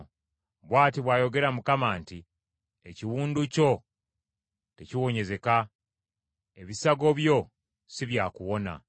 “Bw’ati bw’ayogera Mukama nti, “ ‘Ekiwundu kyo tekiwonyezeka, Ebisago byo si byakuwona.